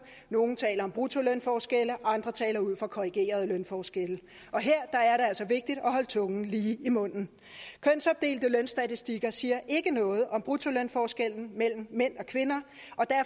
nogle taler om bruttolønforskelle andre taler ud fra korrigerede lønforskelle og her er det altså vigtigt at holde tungen lige i munden kønsopdelte lønstatistikker siger ikke noget om bruttolønforskellen mellem mænd og kvinder